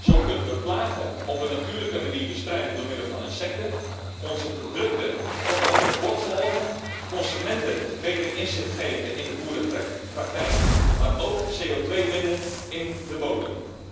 Zo kunnen we plagen op een natuurlijke manier bestrijden door middel van insecten, onze producten tot op het bord volgen, consumenten een beter inzicht geven in de boerenpraktijk, maar ook CO2 binden in de bodem.